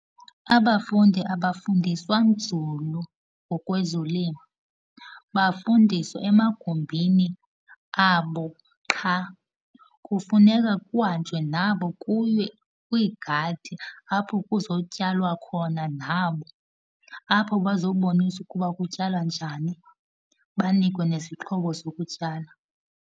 Abafundi abafundiswa nzulu ngokwezolimo, bafundiswa emagumbini abo qha. Kufuneka kuhanjwe nabo kuyiwe kwiigadi, apho kuzotyalwa khona nabo. Apho bazoboniswa ukuba kutyalwa njani, banikwe nezixhobo zokutyala.